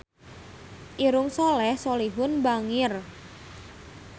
Irungna Soleh Solihun bangir